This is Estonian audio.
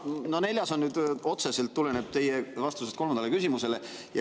No neljas tuleneb otseselt teie vastusest kolmandale küsimusele.